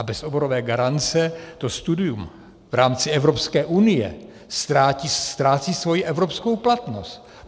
A bez oborové garance to studium v rámci Evropské unie ztrácí svoji evropskou platnost.